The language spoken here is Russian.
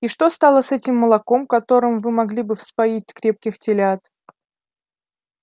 и что стало с этим молоком которым вы могли бы вспоить крепких телят